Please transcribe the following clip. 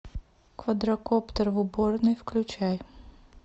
квадрокоптер в уборной включай